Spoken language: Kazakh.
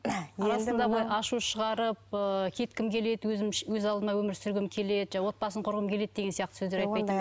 ашу шығарып ы кеткім келеді өз алдыма өмір сүргім келеді жаңағы отбасын құрғым келеді деген сөздер айтпайтын ба еді